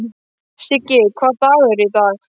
Siggi, hvaða dagur er í dag?